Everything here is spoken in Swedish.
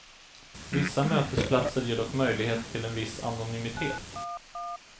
Vissa mötesplatser ger dock möjlighet till en viss anonymitet.